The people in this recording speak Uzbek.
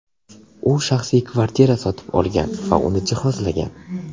U shaxsiy kvartira sotib olgan va uni jihozlagan.